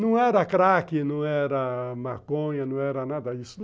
Não era crack, não era maconha, não era nada disso.